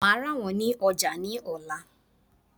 Màá rà wón ní ojà ní òla